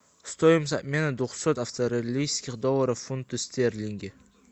стоимость обмена двухсот австралийских долларов в фунты стерлинги